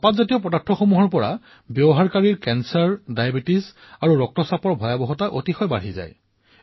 ধঁপাত সেৱন কৰা লোকসকলৰ কৰ্কট ডায়েবেটিছ ৰক্ত চাপ আদিৰ দৰে ৰোগৰ ক্ষতি অধিক বৃদ্ধি হয়